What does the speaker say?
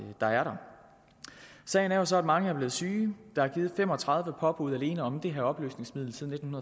der er der sagen er så at mange er blevet syge der er givet fem og tredive påbud alene om det her opløsningsmiddel siden